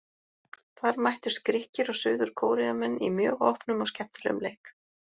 Þar mættust Grikkir og Suður Kóreumenn í mjög opnum og skemmtilegum leik.